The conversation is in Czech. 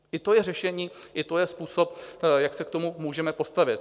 I to je řešení, i to je způsob, jak se k tomu můžeme postavit.